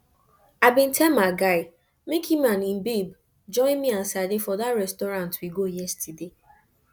i bin tell my guy make im and im babe join me and sade for dat restaurant we go yesterday